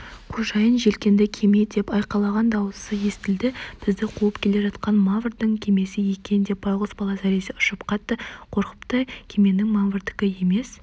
қожайын желкенді кеме деп айқайлаған даусы естілді бізді қуып келе жатқан маврдың кемесі екен деп байғұс бала зәресі ұшып қатты қорқыпты кеменің маврдікі емес